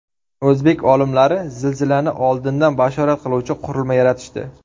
O‘zbek olimlari zilzilani oldindan bashorat qiluvchi qurilma yaratishdi.